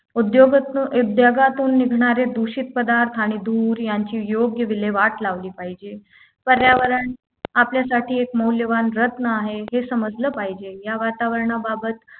उद्योगच उद्योगातून निघणारे दूषित पदार्थ आणि धूर यांची योग्य विल्हेवाट लावली पाहिजे पर्यावरण आपल्यासाठी एक मौल्यवान रत्न आहे हे समजलं पाहिजे या वातावरणाबाबत